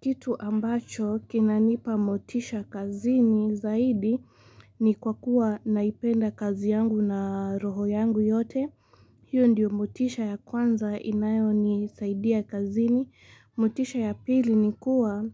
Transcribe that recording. Kitu ambacho kinanipa motisha kazini zaidi ni kwa kuwa naipenda kazi yangu na roho yangu yote. Hiyo ndiyo motisha ya kwanza inayo ni saidia kazini. Motisha ya pili ni kuwa